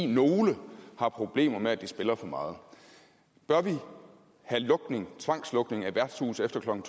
nogle har problemer med at de spiller for meget bør vi have tvangslukning af værtshuse efter klokken